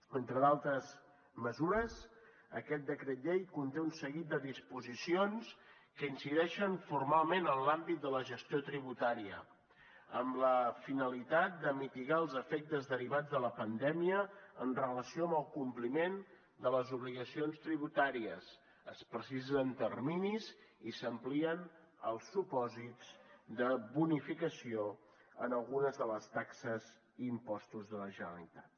entre d’altres mesures aquest decret llei conté un seguit de disposicions que incideixen formalment en l’àmbit de la gestió tributària amb la finalitat de mitigar els efectes derivats de la pandèmia en relació amb el compliment de les obligacions tributàries es precisen terminis i s’amplien els supòsits de bonificació en algunes de les taxes i impostos de la generalitat